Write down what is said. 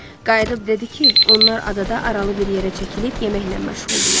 Qayıdıb dedi ki, onlar adada aralı bir yerə çəkilib yeməklə məşğul idilər.